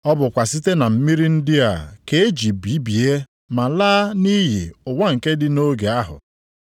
Ọ bụkwa site na mmiri ndị a ka e ji bibie ma laa nʼiyi ụwa nke dị nʼoge ahụ.